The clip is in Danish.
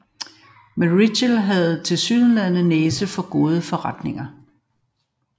Men Reitzel havde tilsyneladende næse for gode forretninger